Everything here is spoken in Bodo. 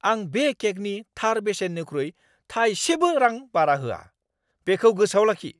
आं बे केकनि थार बेसेननिख्रुइ थायसेबो रां बारा होआ। बेखौ गोसोआव लाखि!